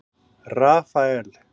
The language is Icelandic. Rafael